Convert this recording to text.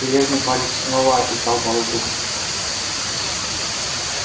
железный палец снова описал полукруг